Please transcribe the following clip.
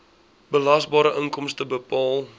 belasbare inkomste bepaal